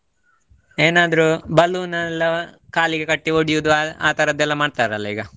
ಏನಾದ್ರೂ balloon ಎಲ್ಲಾ ಕಾಲಿಗೆ ಕಟ್ಟಿ ಒಡಿಯುದು ಆ ಆತರದೆಲ್ಲಾ ಮಾಡ್ತರಲ್ಲಾ ಈಗ.